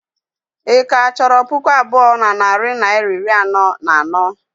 Ị ka chọrọ puku abụọ na narị naịra iri anọ na anọ?